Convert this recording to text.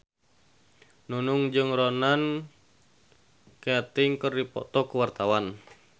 Nunung jeung Ronan Keating keur dipoto ku wartawan